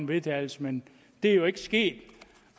vedtagelse men det er jo ikke sket